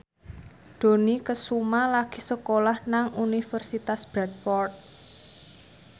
Dony Kesuma lagi sekolah nang Universitas Bradford